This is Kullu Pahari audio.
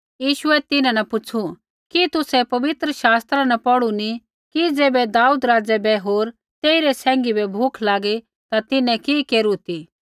यीशुऐ तिन्हां न पुछ़ू कि तुसै पवित्र शास्त्र नी पौढ़ू कि ज़ैबै दाऊद राज़ै बै होर तेइरै सैंघी बै भूख लागी ता तिन्हैं कि केरू ती